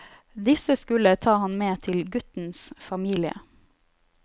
Disse skulle ta han med til guttens familie.